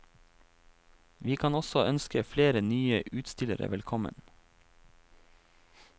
Vi kan også ønske flere nye utstillere velkommen.